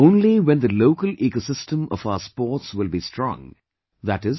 Only when the local ecosystem of our sports will be strong i